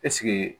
Ɛseke